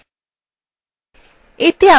এতে আমরা শিখব